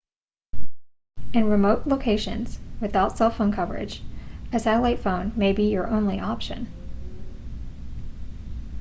in remote locations without cell phone coverage a satellite phone may be your only option